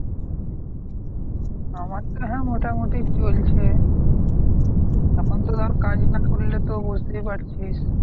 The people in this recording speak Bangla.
আমার তো হ্যাঁ মোটামুটি চলছে। এখন তো ধর কাজ না করলে তো বুঝতেই পারছিস।